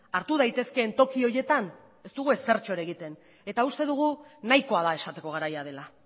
hartu daitezkeen toki horietan ez dugu ezertxo ere egiten eta uste dugu nahikoa da esateko garaia dela